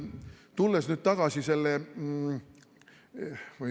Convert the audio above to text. Tulles tagasi selle ...